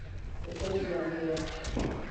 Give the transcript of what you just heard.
Gũcenjia ngia.